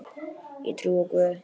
Ég trúi á Guð!